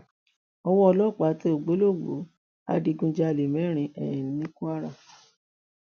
owó ọlọpàá tẹ ògbólógbòó adigunjalè mẹrin um ní kwara